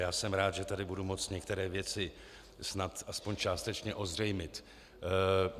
Já jsem rád, že tady budu moci některé věci snad aspoň částečně ozřejmit.